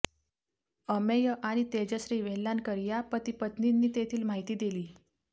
अमेय आणि तेजश्री वेल्हाणकर या पतिपत्नींनी तेथील माहिती दिली